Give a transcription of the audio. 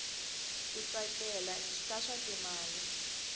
ku tsakela ka swa timali